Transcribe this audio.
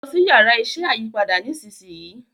lọ si Yàrá iṣẹ́ ayípadà nísìsiyìí!